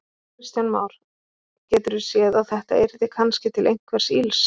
Kristján Már: Geturðu séð að þetta yrði kannski til einhvers ills?